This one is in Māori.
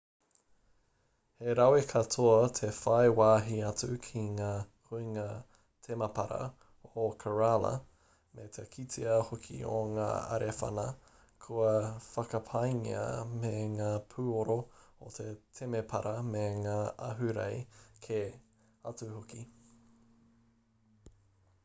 he rawe katoa te whai wāhi atu ki ngā huinga temapara o kerala me te kitea hoki o ngā arewhana kua whakapaingia me ngā pūoro o te temepara me ngā ahurei kē atu hoki